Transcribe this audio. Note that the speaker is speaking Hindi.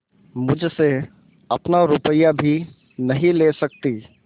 मुझसे अपना रुपया भी नहीं ले सकती